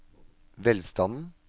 velstanden